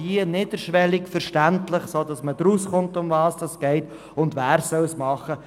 Wie niederschwellig und verständlich muss die Aufklärung sein, und wer soll sie übernehmen?